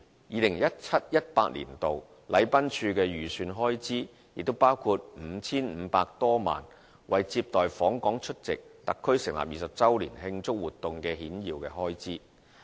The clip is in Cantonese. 2017-2018 年度，禮賓處的預算開支包括 5,500 多萬元為接待訪港出席特區成立20周年慶祝活動的顯要開支。